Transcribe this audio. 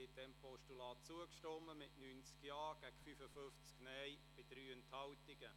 Sie haben diesem Postulat zugestimmt mit 90 Ja- gegen 55 Nein-Stimmen bei 3 Enthaltungen.